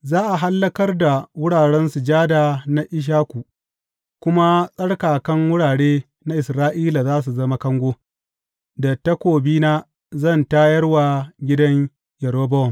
Za a hallakar da wuraren sujada na Ishaku kuma tsarkakan wurare na Isra’ila za su zama kango; da takobina zan tayar wa gidan Yerobowam.